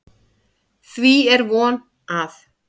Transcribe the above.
Því er von, að